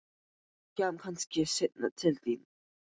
Ég kem kannski seinna til þín.